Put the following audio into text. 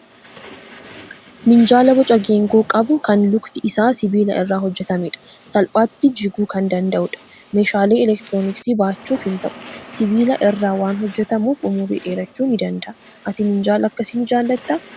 Minjaala boca geengoo qabu, kan lukti isaa sibiila irraa hojjetamedha. Salphaatti jiguu kan danda'udha. Meeshaalee elektirooniksii baachuuf hin ta'u. Sibiila irraa waan hojjetamuuf umurii dheerachuu ni danda'a. Ati minjaala akkasii ni jaalattaa?